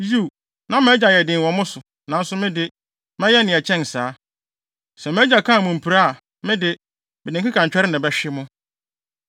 Yiw, na mʼagya yɛ den wɔ mo so, nanso me de, mɛyɛ nea ɛkyɛn saa. Sɛ mʼagya kaa mo mpire a, me de, mede nkekantwɛre na ɛbɛhwe mo.”